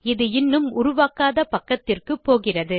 இது இன்னும் உருவாக்காத பக்கத்துக்கு போகிறது